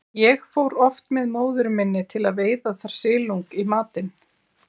Ég fór oft með móður minni til að veiða þar silung í matinn.